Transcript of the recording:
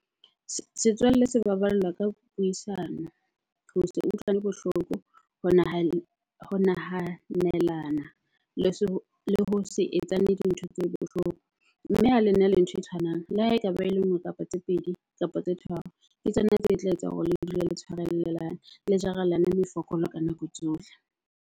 Setswalle se baballwa ka puisano, ho se utlwane bohloko, ho ho nahanelana le le ho se etsane dintho tse bohloko. Mme ha lena le ntho e tshwanang, le ha ekaba e le nngwe kapa tse pedi, kapa tse tharo, ke tsona tse tla etsang hore le dule le tshwarellelane le jarelane mefokolo ka nako tsohle.